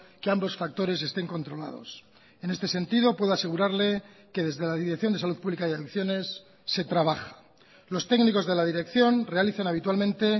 que ambos factores estén controlados en este sentido puedo asegurarle que desde la dirección de salud pública y adicciones se trabaja los técnicos de la dirección realizan habitualmente